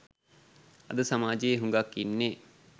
අද සමාජයේ හුගක් ඉන්නේ